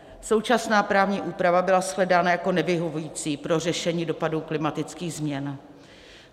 Současná právní úprava byla shledána jako nevyhovující pro řešení dopadů klimatických změn.